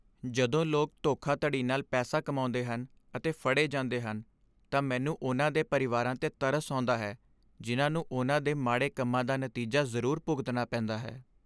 ਜਦੋਂ ਲੋਕ ਧੋਖਾਧੜੀ ਨਾਲ ਪੈਸਾ ਕਮਾਉਂਦੇ ਹਨ ਅਤੇ ਫੜੇ ਜਾਂਦੇ ਹਨ, ਤਾਂ ਮੈਨੂੰ ਉਨ੍ਹਾਂ ਦੇ ਪਰਿਵਾਰਾਂ 'ਤੇ ਤਰਸ ਆਉਂਦਾ ਹੈ ਜਿਨ੍ਹਾਂ ਨੂੰ ਉਨ੍ਹਾਂ ਦੇ ਮਾੜੇ ਕੰਮਾਂ ਦਾ ਨਤੀਜਾ ਜ਼ਰੂਰ ਭੁਗਤਣਾ ਪੈਂਦਾ ਹੈ।